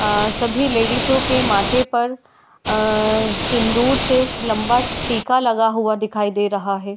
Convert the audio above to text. आ सभी लेडीजों के माथे पर आ सिन्दूर से लम्बा टिका लगा हुआ दिखाई दे रहा है।